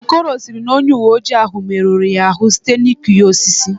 Okoro sịrị na onye uweojii ahụ merụrụ ya ahụ site n'ịkụ ya osisi